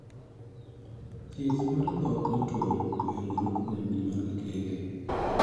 Thieth mar dhok matwo oyiengore kuom gima kele.